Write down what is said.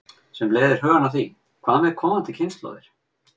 Sem leiðir hugann að því: Hvað með komandi kynslóðir?